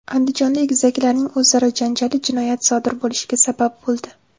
Andijonda egizaklarning o‘zaro janjali jinoyat sodir bo‘lishiga sabab bo‘ldi.